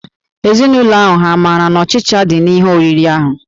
Ezinụlọ ahụ hà maara na ọchịcha dị n'ihe oriri ahụ?